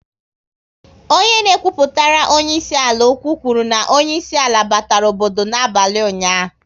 Onye na ekwupụtere onyeisi ala okwu, kwuru na onyeisi ala batara obodo n'abalị ụnyaahụ